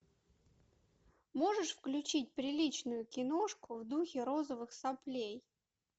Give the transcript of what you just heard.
можешь включить приличную киношку в духе розовых соплей